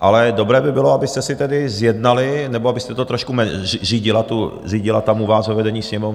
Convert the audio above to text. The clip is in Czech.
ale dobré by bylo, abyste si tedy zjednali, nebo abyste to trošku řídila tam u vás, ve vedení Sněmovny.